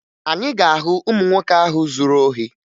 Anyị ga-ahụ ụmụ nwoke ahụ zuru ohi